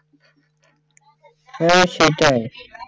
হ্যাঁ সেইটাই